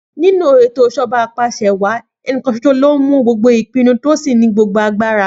Nínú ètò ìs̩èjo̩ba apàs̩ewàá, ẹnìkan s̩os̩o ló ń mú gbogbo ìpinu tó sì ní gbogbo agbára